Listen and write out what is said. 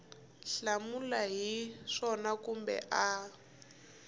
hlamula hi swona kumbe a